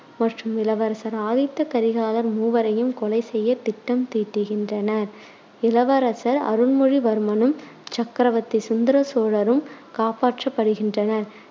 மற்றும் இளவரசர் ஆதித்த கரிகாலர் மூவரையும் கொலை செய்ய திட்டம் தீட்டுகின்றனர். இளவரசர் அருள்மொழிவர்மனும், சக்கரவத்தி சுந்தர சோழரும் காப்பாற்றப்படுகின்றனர்.